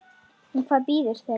En hvað bíður þeirra?